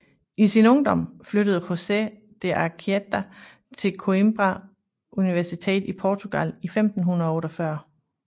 I sin ungdom flyttede José de Anchieta til Coimbra Universitet i Portugal i 1548